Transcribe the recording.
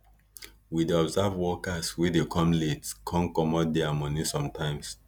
we dey observe workers wey dey come late con commot diir moni sometimes